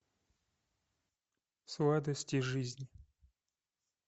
сладости жизни